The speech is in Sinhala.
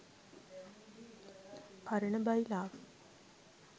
පරණ බයිලාව.